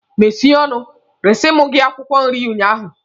Mesie ọnụ! resiri m gị akwụkwọ nri ụnyaahụ!